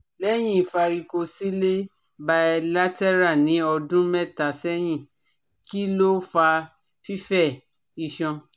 Lẹ́yìn varicocele bilateral ní ọdún mẹ́ta sẹ́yìn, kí ló fa fífẹ̀ iṣan?